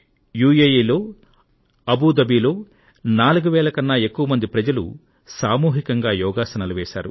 UAE లో Abu Dhabi లో 4 వేల కన్నా ఎక్కువ మంది ప్రజలు సామూహికంగా యోగాసనాలు వేశారు